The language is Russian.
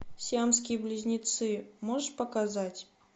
сиамские близнецы можешь показать